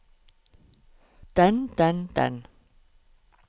den den den